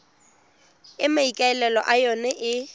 e maikaelelo a yona e